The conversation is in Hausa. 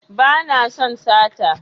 Ba na son sata